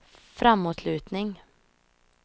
framåtlutning